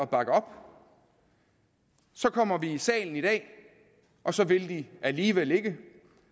bakke op så kommer vi i salen i dag og så vil de alligevel ikke